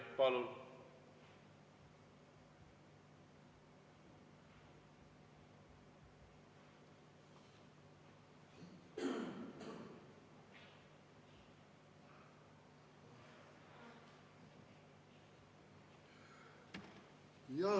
Palun!